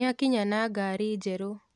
Nĩakinya na ngari njerũ